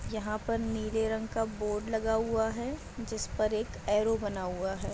यहाँ पर नीले रंग का बोर्ड लगा हुआ है जिस पर एक एरो बना हुआ है।